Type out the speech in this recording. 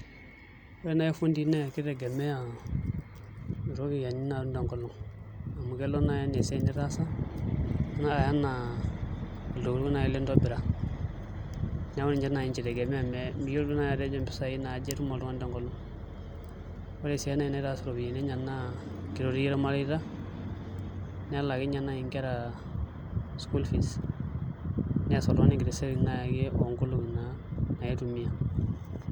Ore naai irfundii naa kitegemea iropiyani naaitum te nkolong amu kelo naaji enaa esiaai nitaasa neya anaa ntokitin naaii litobira, neeku ninche naaji ninye itemea mijo naaji ajo aja pisaai natum te nkolong, ore sii eneitaas iropiyani enye naa kitotir irmareita nelakinye naaji inkera school fees nees naaji oltungani ekiti siaai oo nkolong'i naaji naitumiaa.